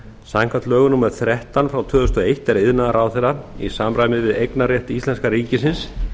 samkvæmt lögum númer þrettán tvö þúsund og eitt er iðnaðarráðherra í samræmi við eignarrétt íslenska ríkisins